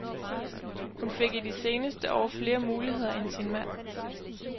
Hun fik i de seneste år flere muligheder end sin mand.